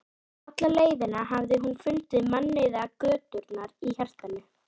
Hann var lítilla ætta, en bjargálna.